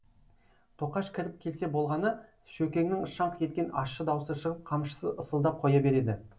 тоқаш кіріп келсе болғаны шөкеңнің шаңқ еткен ащы даусы шығып қамшысы ысылдап қоя береді